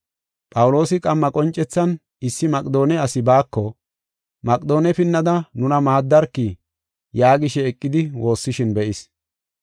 Phawuloosi qamma qoncethan issi Maqedoone asi baako, “Maqedoone pinnada nuna maaddarki” yaagishe eqidi woossishin be7is.